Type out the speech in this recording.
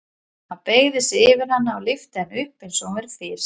Hann beygði sig yfir hana og lyfti henni upp eins og hún væri fis.